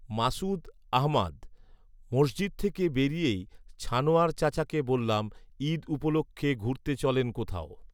মাস্ঊদ আহমাদ, মসজিদ থেকে বেরিয়েই ছানোয়ার চাচাকে বললাম, "ঈদ উপলক্ষে ঘুরতে চলেন কোথাও"।